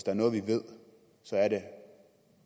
er noget vi ved